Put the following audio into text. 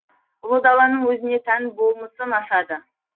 ұлы даланың өзіне тән болмысын ашады